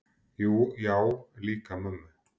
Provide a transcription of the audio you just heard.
Já, líka mömmu